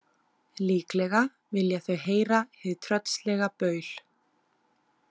Líklega vilja þau heyra hið tröllslega baul.